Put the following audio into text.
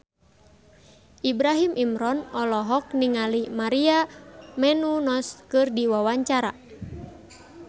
Ibrahim Imran olohok ningali Maria Menounos keur diwawancara